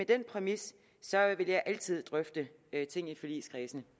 den præmis vil jeg altid drøfte ting i forligskredsen